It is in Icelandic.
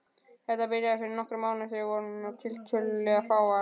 Þetta byrjaði fyrir nokkrum árum og við vorum tiltölulega fáar.